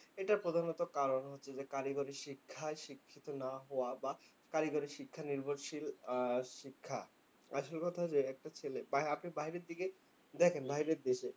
এটার প্রধানত কারণ হচ্ছে যে, কারিগরি শিক্ষায় শিক্ষিত না হওয়া বা কারিগরি শিক্ষা নির্ভরশীল শিক্ষা। আসল কথা যে, একটা ছেলে আপনি বাহিরের দিকে দেখেন বাহিরের দিকে,